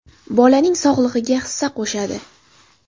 Bolaning sog‘lig‘iga hissa qo‘shadi.